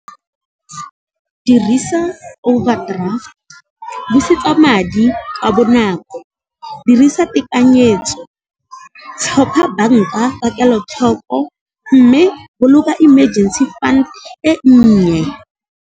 Dirisa overdraft, busetsa madi ka bonako, dirisa tekanyetso, tlhopha banka ka kelotlhoko, mme boloka emergency fund e nnye.